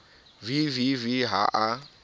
v v v ha a